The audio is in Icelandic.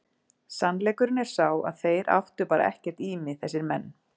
Sannleikurinn er sá að þeir áttu bara ekkert í mig þessir menn.